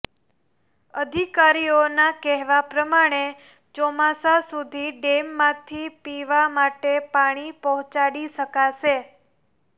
અધિકારીઓના કહેવા પ્રમાણે ચોમાસા સુધી ડેમમાંથી પીવા માટે પાણી પહોંચાડી શકાશે